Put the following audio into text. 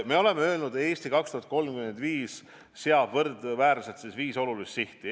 Me oleme öelnud, "Eesti 2035" seab viis võrdväärselt olulist sihti.